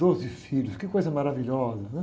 Doze filhos, que coisa maravilhosa, né?